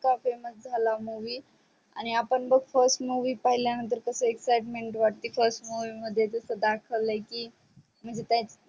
इतका famous झाला movie आणि आपण बग first movie पहिल्या नंतर कस excitement वाटते first movie मध्ये जस दाखवल की म्हणजे त्यांच